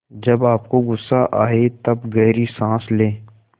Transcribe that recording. जब आपको गुस्सा आए तब गहरी सांस लें